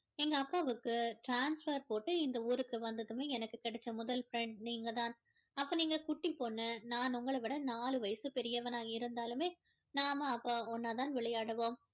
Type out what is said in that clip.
எங்க அப்பாவுக்கு transfer போட்டு இந்த ஊருக்கு வந்ததுமே எனக்கு கிடைச்ச முதல் friend நீங்கதான் அப்போ நீங்க குட்டி பொண்ணு நான் உங்கள விட நாலு வயசு பெரியவனா இருந்தாலுமே நாம அப்போ இன்னா தான் விளையாடுவோம்